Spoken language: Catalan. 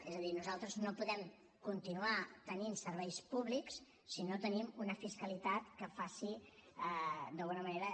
és a dir nosaltres no podem continuar tenint serveis públics si no tenim una fiscalitat que faci d’alguna manera